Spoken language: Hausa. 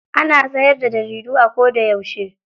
Ana siyar da jaridu a koda yauce.